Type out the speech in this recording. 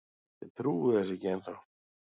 Ég trúi þessu ekki ennþá.